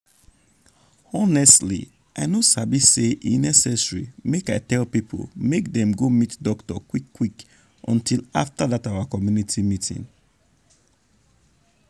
honestly i no sabi say e necessary make i tell people make dem go meet doctor quick quick until after dat our community meeting.